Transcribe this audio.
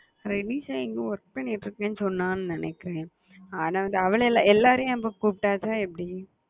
renisha எங்கயோ பண்ணிட்டு இருகன்னு சொன்ன நினைக்குறன் ஆனா வந்து அவளை எல்லா நம்ம கூப்பிட்டா எப்டி